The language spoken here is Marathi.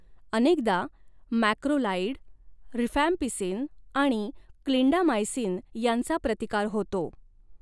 अनेकदा मॅक्रोलाइड, रिफॅम्पिसिन आणि क्लिंडामायसिन यांचा प्रतिकार होतो.